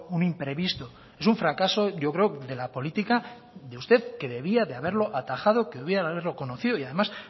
un imprevisto es un fracaso yo creo de la política de usted que debía de haberlo atajado que debía de haberlo conocido y además